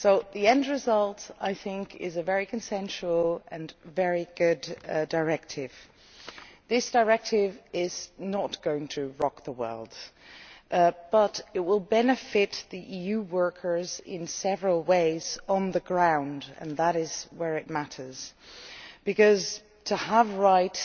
The end result is a very consensual and very good directive. This directive is not going to rock the world, but it will benefit EU workers in several ways on the ground, and that is where it matters, because having rights